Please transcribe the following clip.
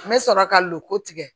N bɛ sɔrɔ ka lukoro tigɛ